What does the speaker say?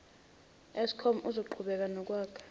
eskom uzoqhubeka nokwakha